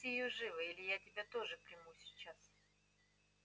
отпусти её живо или я тебя тоже приму сейчас